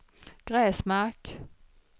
Gräsmark